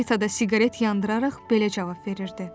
Rita da siqaret yandıraraq belə cavab verirdi: